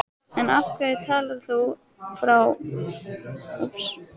En af hverju talar þá frú Pettersson útlensku, og nunnurnar?